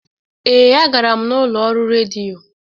Ee, a gara m n'ụlọ ọrụ redio.